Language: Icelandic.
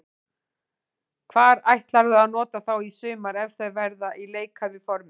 Hvar ætlarðu að nota þá í sumar ef þeir verða í leikhæfu formi?